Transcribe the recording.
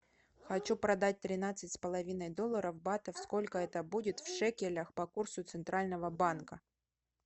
хочу продать тринадцать с половиной долларов батов сколько это будет в шекелях по курсу центрального банка